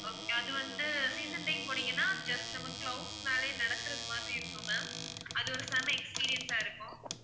அது வந்து season time போனீங்கன்னா just நம்ம clouds மேலயே நடக்கிறது மாதிரி இருக்கும் ma'am அது வந்து செம்ம experience ஆ இருக்கும்